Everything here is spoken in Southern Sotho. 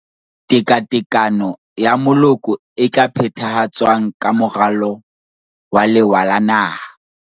Tekatekano ya Moloko e tla phethahatswang ka Moralo wa Lewa la Naha.